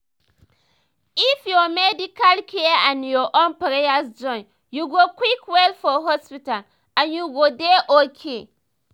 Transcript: if ur medical care and ur own prayers join u go quick well for hospital and u go dey okay